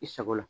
I sago la